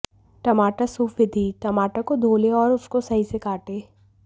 टमाटर सूप विधिः टमाटर को धो लें और उसको सही से काटें